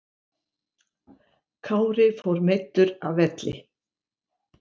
Kári fór meiddur af velli